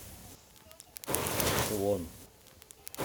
сувон